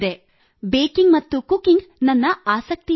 baking ಮತ್ತು cooking ನನ್ನ ಆಸಕ್ತಿಯಾಗಿದೆ